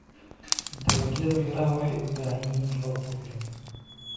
Dalagyada miraha waxay u baahan yihiin roob ku filan.